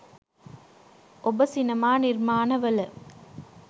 ඔබ සිනමා නිර්මාණවල